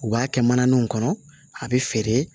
U b'a kɛ mananinw kɔnɔ a bɛ feere